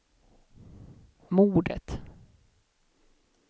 mordet